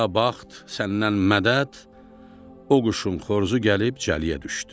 Ya bəxt, səndən mədəd, o quşun xoruzu gəlib cəliyə düşdü.